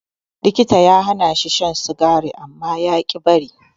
Likita ya hanashi shan sigari amma yaƙi bari.